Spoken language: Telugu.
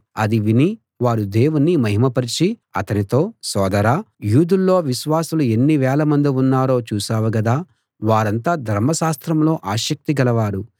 అది విని వారు దేవుణ్ణి మహిమపరచి అతనితో సోదరా యూదుల్లో విశ్వాసులు ఎన్ని వేలమంది ఉన్నారో చూశావు గదా వారంతా ధర్మశాస్త్రంలో ఆసక్తి గలవారు